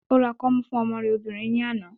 Ó ra kọ́mú fún ọmọ rẹ̀ obìnrin ní àná.